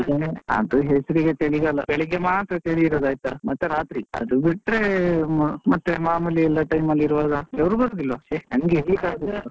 ಚಳಿಗಾಲ, ಅದು ಹೆಸ್ರಿಗೆ ಚಳಿಗಾಲ, ಬೆಳಿಗ್ಗೆ ಮಾತ್ರ ಚಳಿ ಇರುದು ಆಯ್ತಾ, ಮತ್ತೆ ರಾತ್ರಿ ಮತ್ತೆ ಅದು ಬಿಟ್ರೆ ಮತ್ತೆ ಮಾಮೂಲಿ ಎಲ್ಲ time ಅಲ್ಲಿ ಇರ್ವ ಹಾಗೆ ಬೆವ್ರು ಬರುದಿಲ್ವಾ ಛೇ ನಂಗೆ ಇರ್ಲಿಕಾಗುದಿಲ್ಲ .